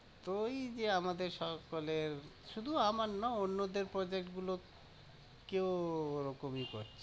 তো ওই যে আমাদের সকলের শুধু আমার না, অন্যদের Project গুলো কেও ওরকম করে